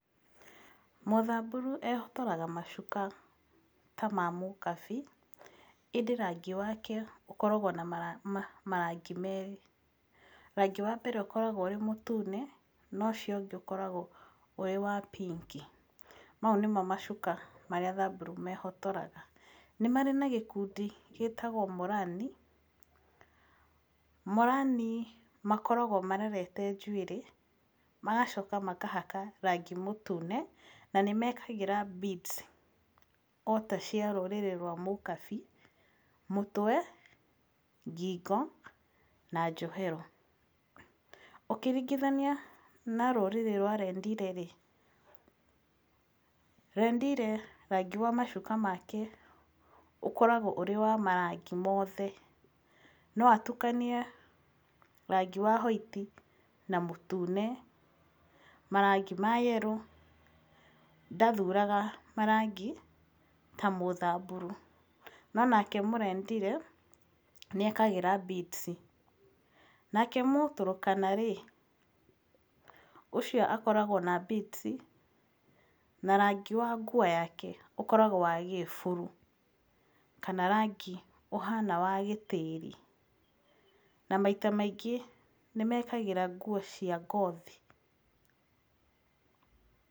Mũthamburu ehotoraga macuka ta ma mũkabi, ĩndĩ rangi wake ũkoragwo na marangi merĩ. Rangi wambere ũkoragwo wĩ mũtune, na ũcio ũngĩ ũkoragwo wĩwa pink, mau nĩmo macuka marĩa Thamburu ciĩhotoraga. Nĩ marĩ na gĩkundi gĩtagwo Morani, Morani makoragwo marerete njuĩrĩ, magacoka makahaka rangi mũtune, na nĩmekagĩra beads, ota cia rũrĩrĩ rwa mũkabi, mũtwe, ng'ing'o na njohero. Ũkĩringithania na rũrĩrĩ rwa Rendile-rĩ, Rendile rangi wa macuka make ũkoragwo wĩwamarangi mothe, no atukanie rangi wa white na mũtune, marangi ma yellow, ndathuraga marangi tamũthamburu, nonake mũrendile, nĩekagĩra beads. Nake Mũturutana-rĩ, ũcio akoragwo na beads, na rangi wa nguo yake ũkoragwo wagĩburu, kana rangi ũhana wa gĩtĩri, na maita maingĩ nĩmekagĩra nguo cia ngothi.